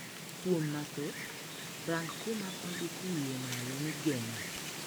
Kuom mathoth, rang kuma ondik wiye malo ni 'Geng'o